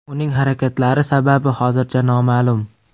Uning harakatlari sababi hozircha noma’lum.